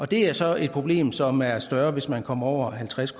det er så et problem som er større hvis man kommer over halvtreds